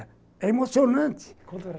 É emocionante.